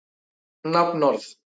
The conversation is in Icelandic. Hver veit það svo sem.